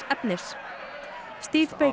efnis